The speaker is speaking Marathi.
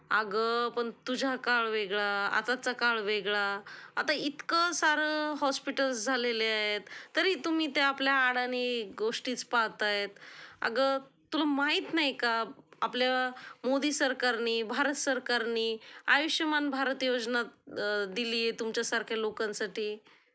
अगं पण तुझा काळ वेगळा, आताचा काळ वेगळा. आता इतकं सारं हॉस्पिटल्स झालेले आहेत, तरी तुम्ही त्या आपल्या अडाणी गोष्टीचं पाहातायत. अगं तुला माहित नाही का, आपल्या मोदी सरकारनी, भारत सरकारनी आयुष्यमान भारत योजना दिलीय तुमच्यासारख्या लोकांसाठी.